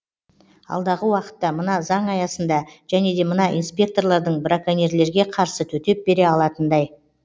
алдағы уақытта мына заң аясында және де мына инспекторлардың браконьерлерге қарсы төтеп бере алатындай